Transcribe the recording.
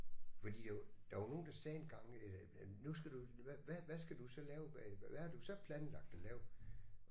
Fordi jo der var nogen der sagde engang øh at nu skal du hvad hvad skal du så lave hvad hvad har du så planlagt at lave